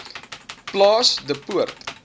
plaas de poort